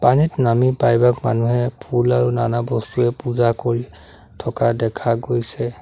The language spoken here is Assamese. পানীত নামি প্ৰায়ভাগ মানুহে ফুল আৰু নানা বস্তুৰে পূজা কৰি থকা দেখা গৈছে।